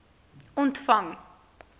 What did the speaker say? ontvang